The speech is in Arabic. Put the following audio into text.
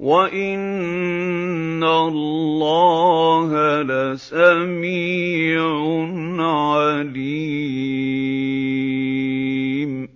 وَإِنَّ اللَّهَ لَسَمِيعٌ عَلِيمٌ